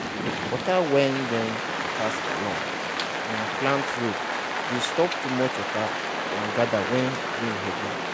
water way wey pass along um plant row dey stop too much water from gather when rain heavy.